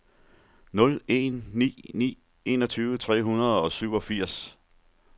nul en ni ni enogtyve tre hundrede og syvogfirs